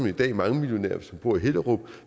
i dag mangemillionær hvis man bor i hellerup